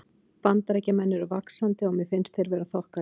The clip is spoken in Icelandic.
Bandaríkjamenn eru vaxandi og mér finnst þeir vera þokkalegir.